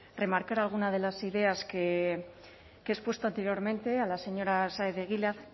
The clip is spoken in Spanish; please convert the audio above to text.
remarcar alguna de las ideas que he expuesto anteriormente a la señora de egilaz